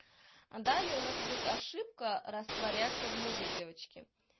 а далее у нас идёт ошибка растворяться в муже девочки